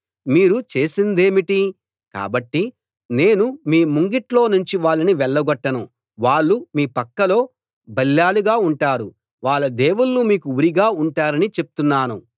మీరు చేసిందేమిటి కాబట్టి నేను మీ ముంగిట్లో నుంచి వాళ్ళని వెళ్లగొట్టను వాళ్ళు మీ పక్కలో బల్లేలుగా ఉంటారు వాళ్ళ దేవుళ్ళు మీకు ఉరిగా ఉంటారని చెప్తున్నాను